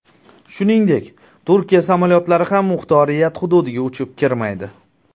Shuningdek, Turkiya samolyotlari ham muxtoriyat hududiga uchib kirmaydi.